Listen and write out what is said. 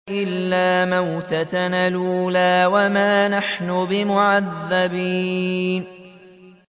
إِلَّا مَوْتَتَنَا الْأُولَىٰ وَمَا نَحْنُ بِمُعَذَّبِينَ